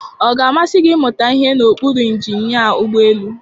Ọ ga-amasị gị ịmụta ihe n'okpuru injinia ụgbọ elu?